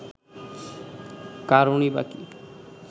কারণই বা কি